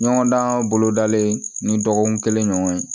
Ɲɔgɔn dan bolodalen ni dɔgɔkun kelen ɲɔgɔn ye